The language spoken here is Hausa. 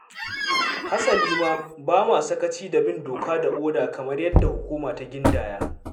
Hasali ma, ba mu sakaci da bin doka da oda kamar yadda hukuma ta gindaya.